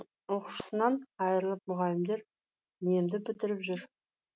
оқушысынан айрылып мұғалімдер немді бітіріп жүр